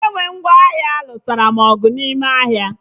Onye ngwa ahịa nụsara m ọgụ n'ahịa ahụ